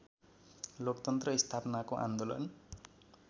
लोकतन्त्र स्थापनाको आन्दोलन